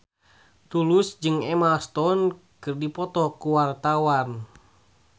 Tulus jeung Emma Stone keur dipoto ku wartawan